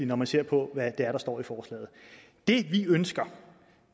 når man ser på hvad der står i forslaget det vi ønsker